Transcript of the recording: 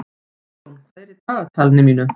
Friðjón, hvað er í dagatalinu mínu í dag?